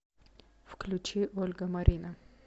включи ольга марина